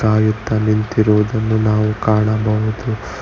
ಕಾಯುತ್ತ ನಿಂತಿರುವುದನ್ನು ನಾವು ಕಾಣಬಹುದು.